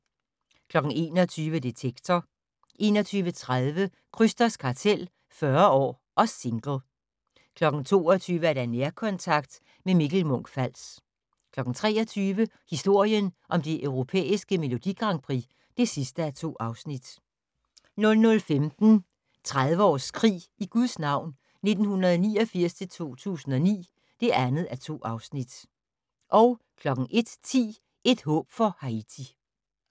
21:00: Detektor 21:30: Krysters kartel - 40 år og single 22:00: Nærkontakt - med Mikkel Munch-Fals 23:00: Historien om det europæiske Melodi Grand Prix (2:2) 00:15: 30 års krig i Guds navn 1989- 2009 (2:2) 01:10: Et håb for Haiti